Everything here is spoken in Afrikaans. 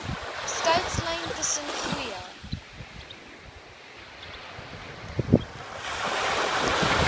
skeidslyn tussen goeie